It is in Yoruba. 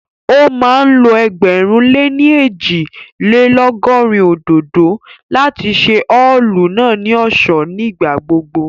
Ó máa ń lo ẹgbẹ̀rún lé ní ẹ́jì-lé-lọ̀gọrin òdòdó láti ṣe ọ́ọ̀lù náà ní ọ̀ṣọ́ ní ìgbà gbogbo